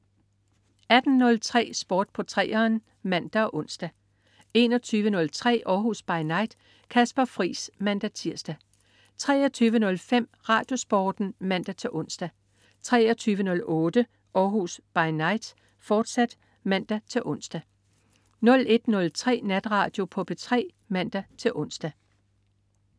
18.03 Sport på 3'eren (man og ons) 21.03 Århus By Night. Kasper Friis (man-tirs) 23.05 RadioSporten (man-ons) 23.08 Århus By Night, fortsat (man-ons) 01.03 Natradio på P3 (man-ons)